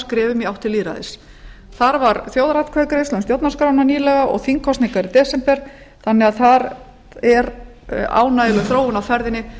skrefum í átt til lýðræðis þar var þjóðaratkvæðagreiðsla um stjórnarskrána nýlega og þingkosningar í desember þannig að þar er ánægjuleg þróun á ferðinni